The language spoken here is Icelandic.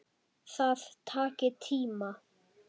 Það taki tíma.